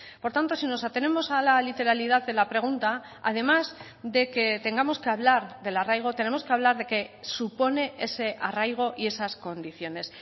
por tanto si nos atenemos a la literalidad en la pregunta además de que tengamos que hablar del arraigo tenemos que hablar de qué supone ese arraigo y esas condiciones